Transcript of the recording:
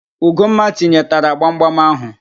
Ugomma tinyetara gbamgbam ahụ